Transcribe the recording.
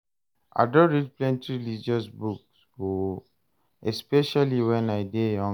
I don read plenty religious book o, especially wen I dey younger